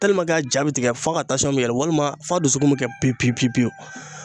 a ja bɛ tigɛ fo ka bɛ yɛlɛ walima f'a dusukun bɛ kɛ pewu pewu pewu.